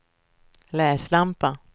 läslampa